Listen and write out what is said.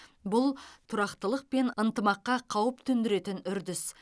бұл тұрақтылық пен ынтымаққа қауіп төндіретін үрдіс